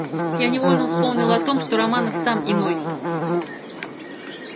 я невольно вспомнил о том что романов сам иной